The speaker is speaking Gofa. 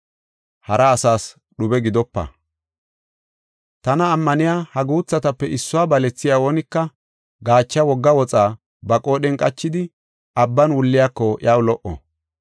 “Tana ammaniya ha guuthatape issuwa balethiya oonika, gaacha wogga woxa ba qoodhen qachidi, abban wulliyako iyaw lo77o.